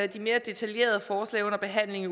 de mere detaljerede forslag under behandling